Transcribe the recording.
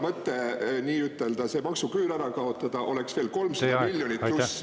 … mõte nii-ütelda maksuküüru kaotamine, oleks veel 300 miljonit plussi.